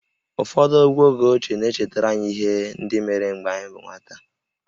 Ụfọdụ egwú oge ochie na-echetara anyị ihe ndị mere mgbe anyị bụ nwata